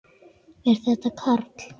Er þetta Karl?